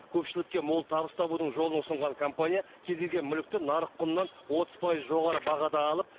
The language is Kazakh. көпшілікке мол табыс табудың жолын ұсынған компания кез келген мүлікті нарық құнынан отыз пайыз жоғары бағада алып